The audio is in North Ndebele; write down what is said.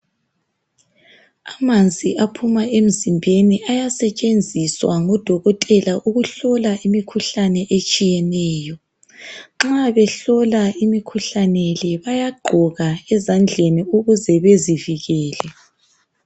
Amanzi aphuma emzimbeni ayasetshenziswa ngudokotela ukuhlola imikhuhlane etshiyeneyo. Nxa behlola imikhuhlane le bayagqoka ezandleni ukuze bezivikele.